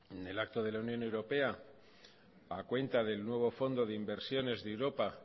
en el acto de la unión europea a cuenta del nuevo fondo de inversiones de europa